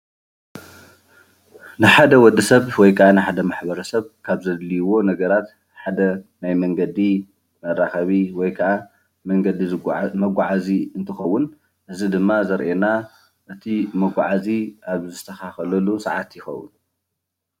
ንሓደ ወዲ ሰብ ወይ ከዓ ማሕበረ ሰብ ካብ ዘድልይዎ ነገራት ሓደ ናይ መንገዲ መራከቢ ወይ ከዓ መንገዲ መጓዓዚ እንትከውን እዚ ድማ ዘርእየና እቲ መጓዓዚ ኣብ ዝስተካከለሉ ሰዓት ይከውን፡፡